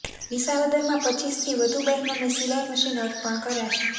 વિસાવદરમાં રપ થી વધુ બહેનોને સિલાઈ મશીન અર્પણ કરાશે